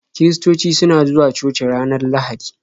Kiristoci suna zuwa coci ranar lahadi